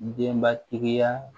Denbatigiya